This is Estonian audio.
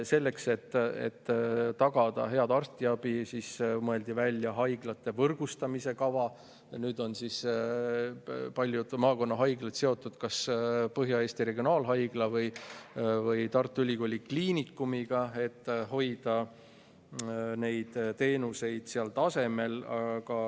Selleks, et tagada head arstiabi, mõeldi välja haiglate võrgustamise kava, ja nüüd on paljud maakonnahaiglad seotud kas Põhja-Eesti Regionaalhaigla või Tartu Ülikooli Kliinikumiga, et hoida teenuseid tasemel.